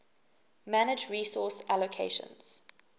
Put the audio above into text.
manage resource allocations